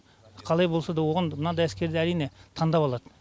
қалай болсада оғанда мынадай әскерден әрине тандап алады